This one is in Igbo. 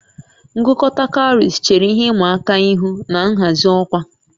Ngụkọta cowries chere ihe ịma aka ihu na nhazi ọkwa